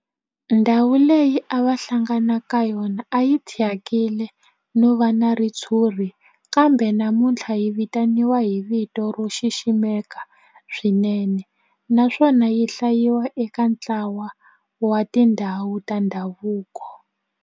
Ndhawu leyi a va hlangana ka yona a yi thyakile no va na ritshuri kambe namuntlha yi vitaniwa hi vito ro xiximeka swinene naswona yi hlayiwa eka ntlawa wa tindhawu ta ndhavuko.